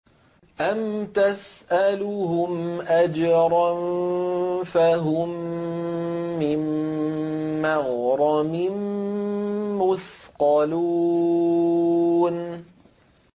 أَمْ تَسْأَلُهُمْ أَجْرًا فَهُم مِّن مَّغْرَمٍ مُّثْقَلُونَ